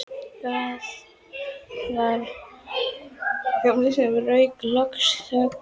Það var Gamli sem rauf loks þögnina.